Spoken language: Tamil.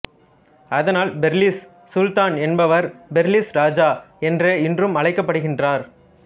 அதனால் பெர்லிஸ் சுல்தான் என்பவர் பெர்லிஸ் ராஜா என்றே இன்றும் அழைக்கப் படுகின்றனர்